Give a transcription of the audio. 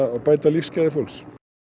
að bæta lífsgæði fólks